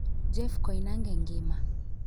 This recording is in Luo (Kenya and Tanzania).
Jeff koinange ngima